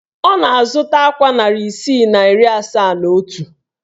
Ọ na-azụta akwa narị isii na iri asaa na otu